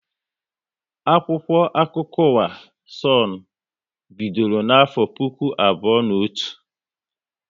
Akwụkwọ akụkọ ụwa Sonu bidoro na afọ puku abụọ na otu